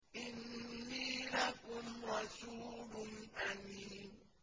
إِنِّي لَكُمْ رَسُولٌ أَمِينٌ